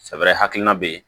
Sɛfɛrɛ hakilina bɛ yen